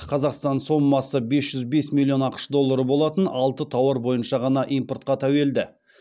қазақстан сомасы бес жүз бес миллион ақш доллары болатын алты тауар бойынша ғана импортқа тәуелді